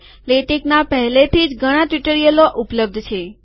લેટેકના પહેલેથી જ ઘણા ટ્યુટોરિયલો ઉપલબ્ધ છે